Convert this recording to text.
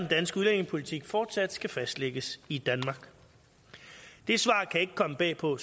danske udlændingepolitik fortsat skal fastlægges i danmark det svar kan ikke komme bag på